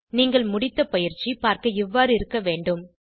நீங்கள் முடித்த பயிற்சி பார்க்க இவ்வாறு இருக்க வேண்டும்